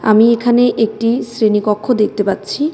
আমি এখানে একটি শ্রেণীকক্ষ দেখতে পাচ্ছি .